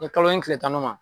kalo in tile tannan ma